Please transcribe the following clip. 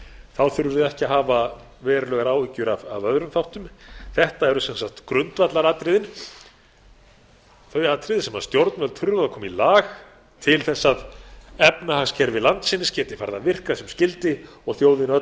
þá þurfum við ekki að hafa verulegar áhyggjur af öðrum þáttum þetta eru sem sagt grundvallaratriðin þau atriði sem stjórnvöld þurfa að koma í lag til að efnahagskerfi landsins geti farið að virka sem skyldi og þjóðin öll farið